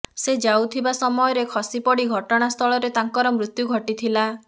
ସେ ଯାଉଥିବା ସମୟରେ ଖସିପଡି ଘଟଣାସ୍ଥଳରେ ତାଙ୍କର ମୃତ୍ୟୁ ଘଟିଥିଲା